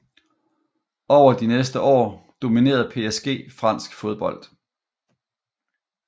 Over de næste år dominerede PSG fransk fodbold